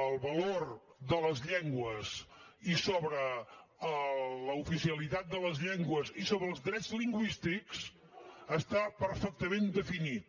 el valor de les llengües i sobre l’oficialitat de les llengües i sobre els drets lingüístics està perfectament definit